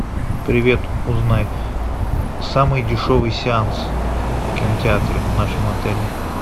привет узнай самый дешевый сеанс в кинотеатре в нашем отеле